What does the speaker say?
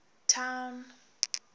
town